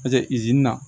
Paseke izini na